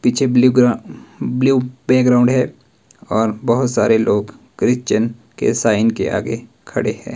पीछे ब्लू ग्रा blue background है और बहोत सारे लोग क्रिश्चियन के साइन के आगे खड़े हैं।